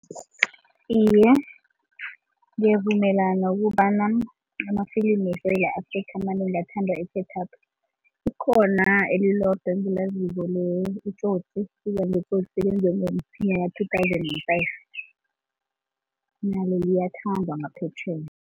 Iye, ngiyavumelana ukobana amafilimi weSewula Afrika amanengi athandwa Likhona elilodwa engilaziko iTsotsi two thousand and five nalo liyathandwa ngaphetjheya.